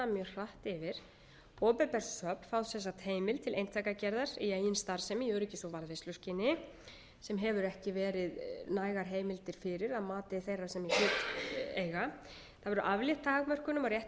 hratt fyrir opinber söfn fá sem sagt heimild til eintakagerðar í eigin starfsemi í öryggis og varðveisluskyni sem hafa ekki verið nægar heimildar fyrir að mati þeirra sem í hlut eiga það verður aflétt takmörkunum á rétti